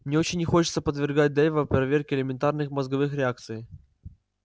мне очень не хочется подвергать дейва проверке элементарных мозговых реакций